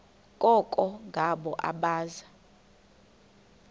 koko ngabo abaza